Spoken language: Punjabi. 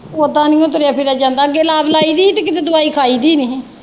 ਓਦਾਂ ਨਹੀਂ ਓ ਤੁਰਿਆ ਫਿਰਿਆ ਜਾਂਦਾ ਅੱਗੇ ਲਾਈ ਦੀ ਹੀ ਤੇ ਕਿਤੇ ਦਵਾਈ ਖਾਈ ਦੀ ਨਹੀਂ ਹੀ।